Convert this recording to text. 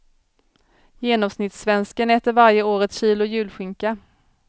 Genomsnittssvensken äter varje år ett kilo julskinka.